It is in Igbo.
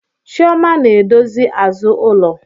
Chioma na-edozi azụ ulo